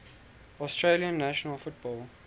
australian national football